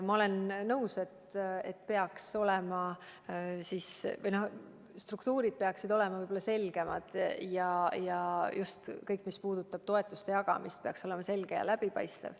Ma olen nõus, et struktuurid peaksid olema selgemad ja kõik, mis puudutab toetuste jagamist, peaks olema selge ja läbipaistev.